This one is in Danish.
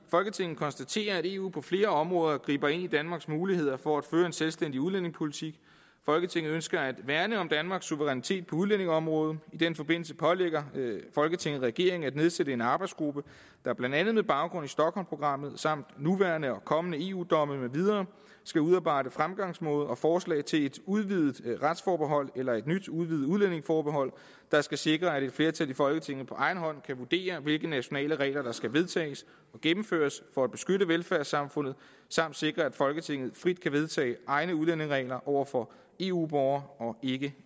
folketinget konstaterer at eu på flere områder griber ind i danmarks muligheder for at føre en selvstændig udlændingepolitik folketinget ønsker at værne om danmarks suverænitet på udlændingeområdet i den forbindelse pålægger folketinget regeringen at nedsætte en arbejdsgruppe der blandt andet med baggrund i stockholmprogrammet samt nuværende og kommende eu domme med mere skal udarbejde fremgangsmåde og forslag til et udvidet retsforbehold eller et nyt udvidet udlændingeforbehold der skal sikre at et flertal i folketinget på egen hånd kan vurdere hvilke nationale regler der skal vedtages og gennemføres for at beskytte velfærdssamfundet samt sikre at folketinget frit kan vedtage egne udlændingeregler over for eu borgere og ikke